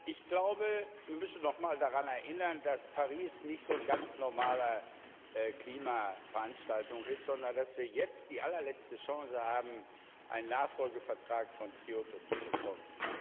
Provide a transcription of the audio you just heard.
Ich glaube, wir müssen noch mal daran erinnern, dass Paris nicht so eine ganz normale Klima Veranstaltung ist, sondern dass wir jetzt die allerletzte Chance haben, einen Nachfolgevertrag von Kyoto zu bekommen.